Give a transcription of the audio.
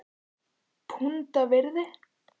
Punda virði??!?